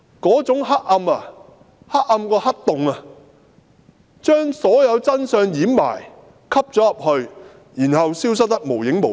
那種黑暗比黑洞更黑，掩蓋所有真相，然後消失得無影無蹤。